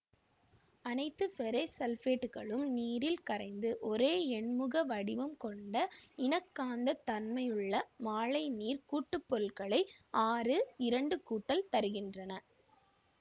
அனைத்து ஃபெரசு சல்பேட்டுகளும் நீரில் கரைந்து ஒரே எண்முக வடிவம் கொண்ட இணைக்காந்த தன்மையுள்ள மாழைநீர் கூட்டுப்பொருளைத் ஆறு இரண்டு கூட்டல் தருகின்றன